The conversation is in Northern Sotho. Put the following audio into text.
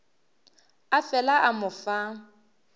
a fela a mo fa